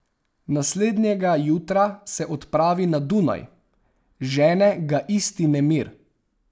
Naslednjega jutra se odpravi na Dunaj, žene ga isti nemir.